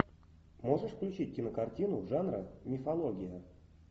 можешь включить кинокартину жанра мифология